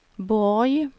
Borg